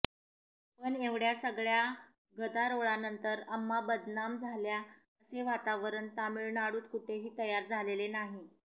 पण एवढय़ा सगळय़ा गदारोळानंतर अम्मा बदनाम झाल्या असे वातावरण तामिळनाडूत कुठेही तयार झालेले नाही